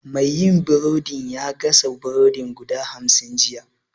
Mai yin burodin ya gasa burodi guda hamsin jiya